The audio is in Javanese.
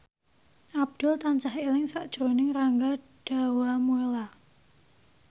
Abdul tansah eling sakjroning Rangga Dewamoela